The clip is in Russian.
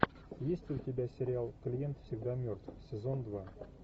есть ли у тебя сериал клиент всегда мертв сезон два